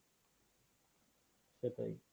সেটাই।